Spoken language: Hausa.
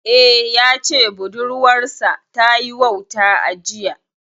Eh, ya ce budurwar sa ta yi wauta a jiya